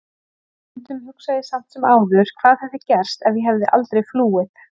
En stundum hugsa ég samt sem áður hvað hefði gerst ef ég hefði aldrei flúið.